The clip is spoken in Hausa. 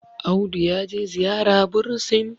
Audu ya je ziyara bursin